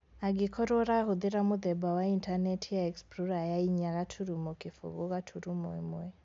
Angĩkorwo ũrahũthĩra mũthemba wa intanenti ya explorer ya inya gaturumo kĩfũgũ gaturumo ĩmwe